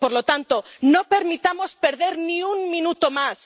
Por lo tanto, no permitamos que se pierda ni un minuto más.